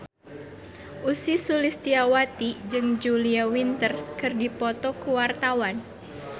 Ussy Sulistyawati jeung Julia Winter keur dipoto ku wartawan